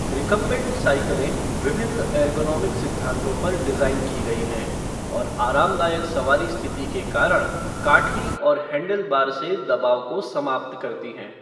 Recumbent साइकिलें विभिन्न ergonomic सिद्धांतों पर डिज़ाइन की गई हैं और आरामदायक सवारी स्थिति के कारण काठी और हैंडलबार से दबाव को समाप्त करती हैं।